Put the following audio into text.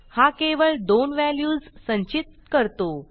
हा केवळ दोन व्हॅल्यूज संचित करतो